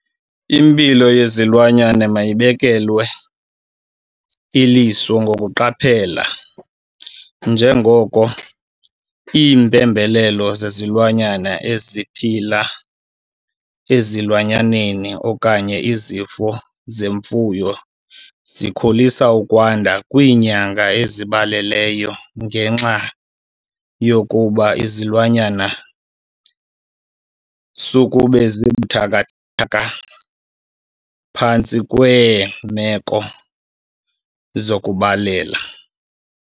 Impilo yezilwanyana mayibekwe iliso ngokuqaphela njengoko iimpembelelo zezidalwa eziphila ezilwanyaneni okanye izifo zemfuyo zikholisa ukwanda kwiinyanga ezibaleleyo ngenxa yokuba izilwanyana sukuba zibuthathaka phantsi kweemeko zokubalela.